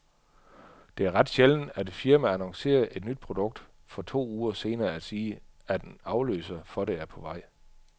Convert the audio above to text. Det er ret sjældent, at et firma annoncerer et nyt produkt for to uger senere at sige, at en afløser for det er på vej.